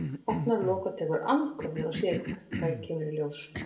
Opnar lok og tekur andköf þegar hún sér hvað kemur í ljós.